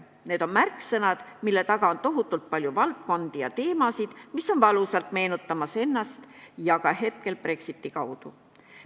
Need on märksõnad, mille taga on tohutult palju valdkondi ja teemasid, mis on valusalt meenutamas ennast hetkel ka Brexiti kaudu.